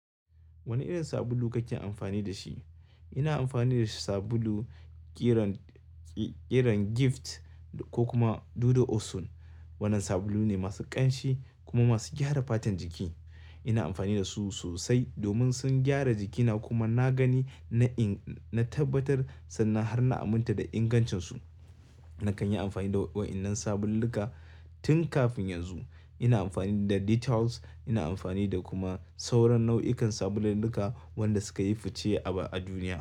Wane irin sabulu kake amfani da shi? Ina amfani da sabulu ƙiran, ƙiran Gift, ko kuma Dudu Osun. Wannan sabulun ne masu ƙanshi kuma masu gyara fatan jiki. Ina amfani da su sosai domin sun gyara jikina kuma na gani na inga, na tabbatar, sannan har na aminta da ingancinsu. Na kan yi amfani da wa'yannan sabululluka tun kafin yanzu. Ina amfani da Detols, ina amfani da kuma sauran nau'ikan sabululluka wanda suka yi fice a duniya.